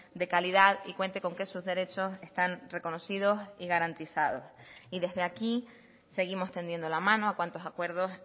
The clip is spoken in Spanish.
de calidad y cuente con que sus derechos están reconocidos y garantizados y desde aquí seguimos tendiendo la mano a cuantos acuerdos